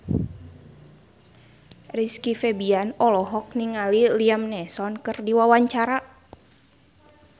Rizky Febian olohok ningali Liam Neeson keur diwawancara